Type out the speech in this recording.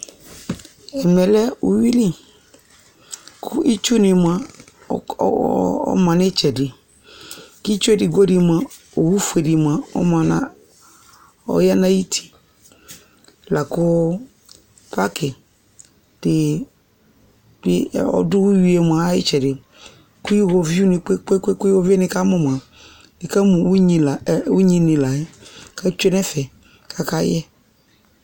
̇Ɛmɛ lɛ uyui li, kʋ itsunɩ mʋa, ɔma nʋ ɩtsɛdɩ, kʋ itsu edigbo mʋa, owu fue dɩ mʋa, ɔma nʋ, ɔya nʋ ayʋ uti, la kʋ pakɩ dɩ bɩ ɔdʋ uyui yɛ mʋa, ayʋ ɩtsɛdɩ, kʋ iyoviunɩ kpe-kpe-kpe-kpe, iɣoviu yɛ nɩkamʋ mʋa, nɩkamʋ unyinɩ la yɛ kʋ atsue nʋ ɛfɛ, kʋ akayɛ